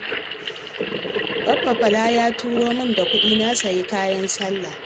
Baffa Bala ya tura min da kuɗi na sayi kayan sallah